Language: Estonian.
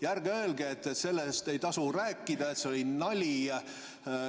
Ja ärge öelge, et sellest ei tasu rääkida, et see oli nali.